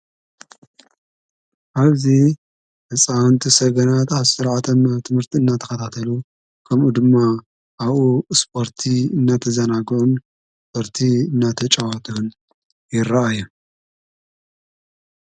ኣብዙ እፃንቲ ሰገናት ኣብ ሠራዓተም ትምህርቲ እናተኸታተሉ ከምኡ ድማ ኣኡ ስጶርቲ እናተ ዘናጎን ወርቲ እናተ ጨዋተን ይረአ የ።